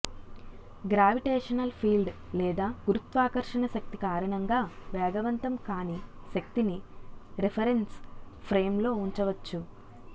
gravitational field లేదా గురుత్వాకర్షణశక్తి కారణంగా వేగవంతం కాని శక్తిని రిఫరెంస్ ఫ్రేంలో ఉంచవచ్చు